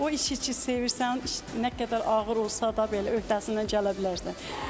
O işi ki, sevirsən, nə qədər ağır olsa da belə öhdəsindən gələ bilərsən.